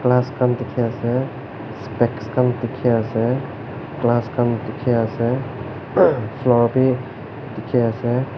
glass khan dikhi ase specks khan dikhi ase glass khan dikhi ase floor bhi dikhi ase.